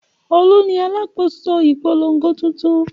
Olú ni alákòóso ìpolongo tuntun.